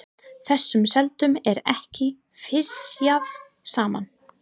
Þessum selum er ekki fisjað saman.